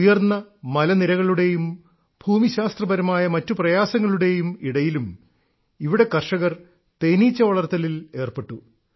ഉയർന്ന മലനിരകളുടെയും ഭൂമിശാസ്ത്രപരമായ മറ്റു പ്രയാസങ്ങളുടെയും ഇടയിലും ഇവിടെ കർഷകർ തേനീച്ച വളർത്തലിൽ ഏർപ്പെട്ടു